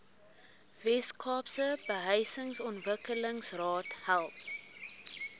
weskaapse behuisingsontwikkelingsraad help